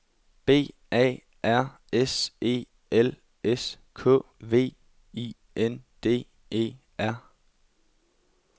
B A R S E L S K V I N D E R